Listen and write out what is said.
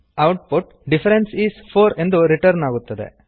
output difference is 4 ಎಂದು return ಆಗುತ್ತದೆ